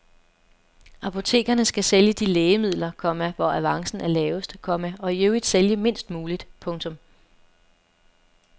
Apotekerne skal sælge de lægemidler, komma hvor avancen er lavest, komma og i øvrigt sælge mindst muligt. punktum